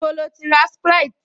Níbo lo ti ra sprite?